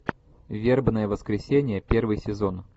вербное воскресенье первый сезон